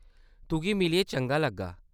तुगी मिलियै चंगा लग्गा।